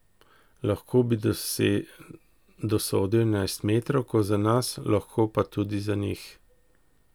Lahko bi dosodil enajstmetrovko za nas, lahko pa tudi za njih.